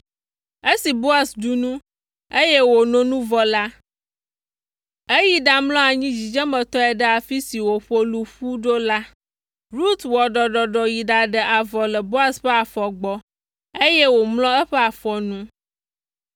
Esi Boaz ɖu nu, eye wòno nu vɔ la, eyi ɖamlɔ anyi dzidzemetɔe ɖe afi si woƒo lu ƒu ɖo la. Rut wɔ ɖɔɖɔɖɔ yi ɖaɖe avɔ le Boaz ƒe afɔ gbɔ, eye wòmlɔ eƒe afɔ nu.